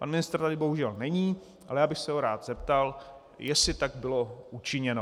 Pan ministr tady bohužel není, ale já bych se ho rád zeptal, jestli tak bylo učiněno.